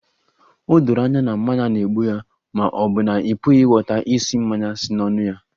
O doro anya na mmanya na-egbu ya ma ọ bụ na ị pụghị ịghọta ísì mmanya si n'ọnụ ya?